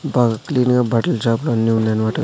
బాగా క్లీన్ గా బట్టల షాపులన్నీ ఉన్నాయన్నమాట.